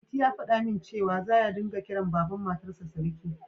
Liti ya faɗa min cewa, za ya ringa kiran Baban Matarsa Siriki